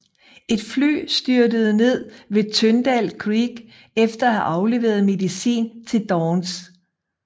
Et fly styrtede ned ved Tyndall Creek efter at have afleveret medicin til Downs